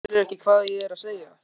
Skilurðu ekki hvað ég er að segja?